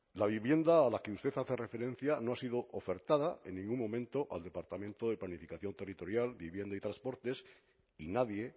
la vivienda a la que usted hace referencia no ha sido ofertada en ningún momento al departamento de planificación territorial vivienda y transportes y nadie